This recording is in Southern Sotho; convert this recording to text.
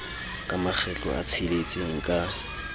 ka makgetlo a tsheletseng ka